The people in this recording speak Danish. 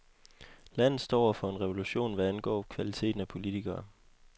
Landet står over for en revolution, hvad angår kvaliteten af politikere.